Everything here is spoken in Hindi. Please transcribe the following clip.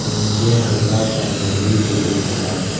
नीचे हल्का सा नदी भी दिख रहा है।